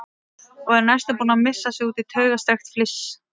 Og er næstum búin að missa sig út í taugastrekkt fliss.